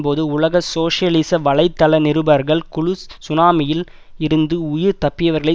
போது உலக சோசியலிச வலை தள நிருபர்கள் குழு சுனாமியில் இருந்து உயிர் தப்பியவர்களை